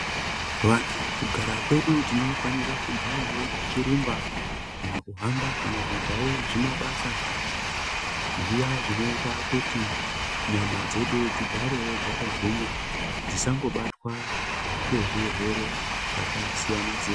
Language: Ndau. Vantu kugara kwedu tinofanira kugarawo tichirumba kana kuhamba kana kuitawo zvimabasa zviya zvinoita kuti nyama dzedu dzigarewo dzakagwinya dzisangobatwa ngezvirwere zvakasiyana siyana.